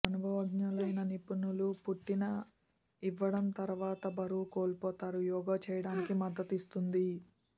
అనుభవజ్ఞులైన నిపుణులు పుట్టిన ఇవ్వడం తర్వాత బరువు కోల్పోతారు యోగా చేయడానికి మద్దతిస్తుంది